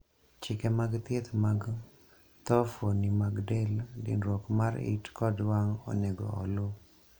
chike mag thieth mag tho fuoni mag del, dinruok mar it kod wang' onego oluu